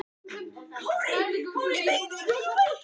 Í langflestum tilvikum hætti hún alveg að skila steinvölunni.